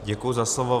Děkuji za slovo.